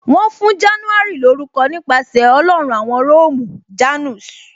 Wọn fún January lórúko nípasẹ̀ Ọlọ́run awon Róòmù "Janus "